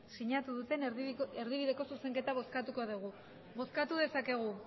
sinatu duten erdibideko zuzenketa bozkatuko dugu bozkatu dezakegu